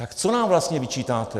Tak co nám vlastně vyčítáte?